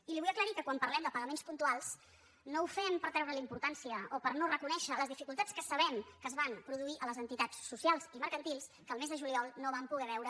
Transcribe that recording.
i li vull aclarir que quan parlem de pagaments pun·tuals no ho fem per treure·li importància o per no re·conèixer les dificultats que sabem que es van produir a les entitats socials i mercantils que el mes de juliol no van poder veure